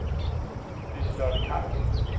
Lise-Lotte Carlsen